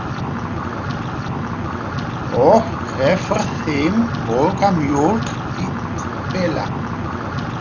Og gefur þeim volga mjólk í pela!